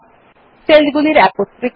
সেলগুলির একত্রীকরণ